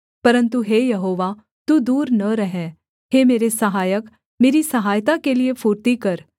परन्तु हे यहोवा तू दूर न रह हे मेरे सहायक मेरी सहायता के लिये फुर्ती कर